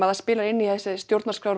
það spilar inn í að stjórnarskráin